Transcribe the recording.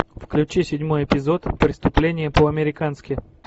включи седьмой эпизод преступление по американски